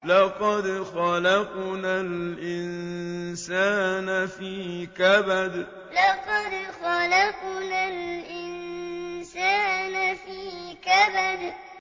لَقَدْ خَلَقْنَا الْإِنسَانَ فِي كَبَدٍ لَقَدْ خَلَقْنَا الْإِنسَانَ فِي كَبَدٍ